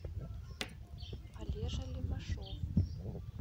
олежа левашов